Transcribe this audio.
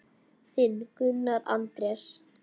Þinn, Gunnar Andrés.